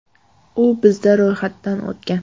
U bizda ro‘yxatdan o‘tgan.